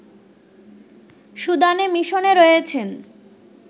সুদানে মিশনে রয়েছেন